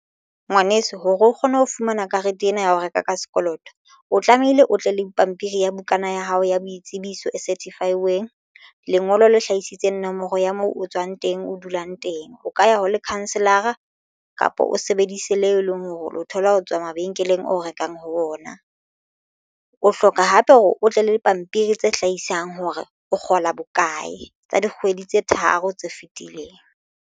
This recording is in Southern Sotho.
Ngwaneso hore o kgone ho fumana karete ena ya ho reka ka sekoloto o tlamehile o tle le pampiri ya bukana ya hao ya boitsebiso e certified weng lengolo le hlahisitseng nomoro ya moo o tswang teng, o dulang teng o ka ya ho lekhanselara kapa o sebedise leo e leng hore o lo thola ho tswa mabenkeleng o rekang ho ona. O hloka hape hore o tle le dipampiri tse hlahisang hore o kgola bokae tsa dikgwedi tse tharo tse fetileng.